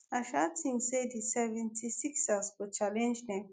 i sha tink say di 76ers go challenge dem.